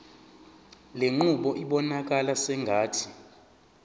lenqubo ibonakala sengathi